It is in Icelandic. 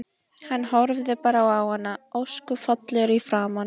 Hann horfði bara á hana, ósköp fallegur í framan.